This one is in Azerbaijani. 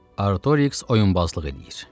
Artoriks oyunbazlıq eləyir.